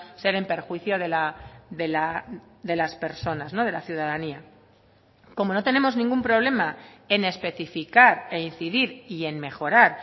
ser en perjuicio de las personas de la ciudadanía como no tenemos ningún problema en especificar e incidir y en mejorar